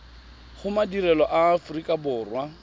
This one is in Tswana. go madirelo a aforika borwa